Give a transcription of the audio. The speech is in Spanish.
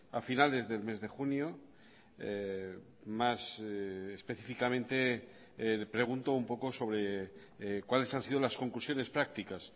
a finales del mes de junio más específicamente pregunto un poco sobre cuales han sido las conclusiones prácticas